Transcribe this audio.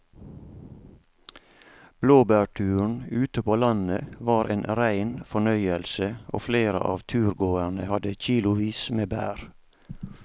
Blåbærturen ute på landet var en rein fornøyelse og flere av turgåerene hadde kilosvis med bær.